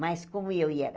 Mas como eu e ela.